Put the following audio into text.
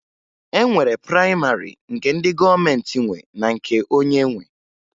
E nwere prayịmarị nke ndị gọọmenti nwe na nke onye nwe